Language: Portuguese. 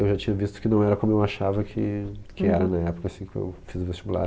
Eu já tinha visto que não era como eu achava que que era na época assim que eu fiz o vestibular.